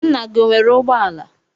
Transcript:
Nna gị o nwere ụgbọala?